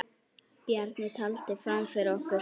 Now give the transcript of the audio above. Bjarni taldi fram fyrir okkur.